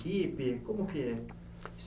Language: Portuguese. Como é que é